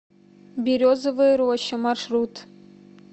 березовая роща маршрут